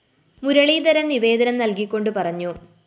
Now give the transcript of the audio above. മുരളീധരന്‍ നിവേദനം നല്‍കികൊണ്ട്‌ പറഞ്ഞു